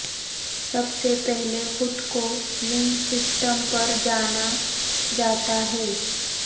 سب سے پہلے خود کولنگ سسٹم پر جانا جاتا ہے